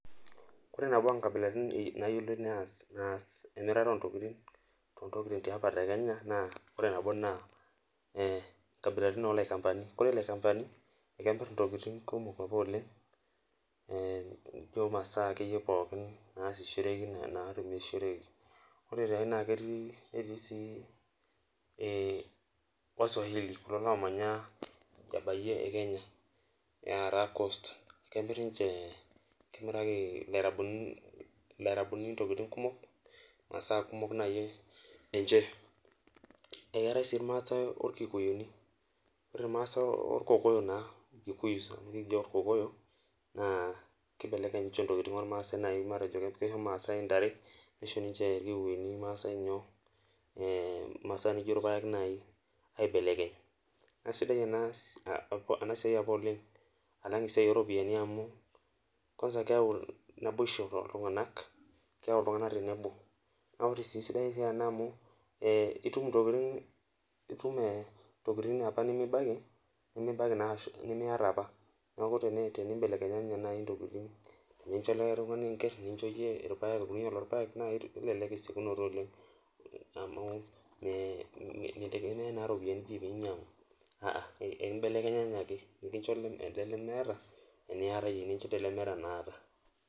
Ore nabo onkabilani nayiolinoibnaas emirata ontokitin tontokitin eapa tolosho le kenya na nkabilaitin olaikambani ekemir ntokitin kumok oleng masaa pooki namirishoreki netii si wasamwahili na kemiraki lairabuni ntokitin kumok masaa kumok ninche eeate si irmaasai orkokoyo na kibeleleny ninche ntokitin matejo kisho irmaasai ntare nisho irmaasai masaa nijo irpaek nai aibelekeny na aisidai enasia olenga amu keyau ltungani tenebo na esiaia sidai ena amu itum ntokitin apa nimibaki nimiata apa neaku tenumbelekenye nai ntokitin irpaek amu kelelek esiokinoto oleng amu mitegemea ropiyani pinyangu nincho elee lemeeta naata